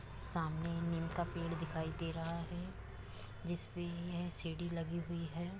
सामने नीम का पेड़ दिखाई दे रहा है जिस पे यह सीढ़ी लगी हुई है।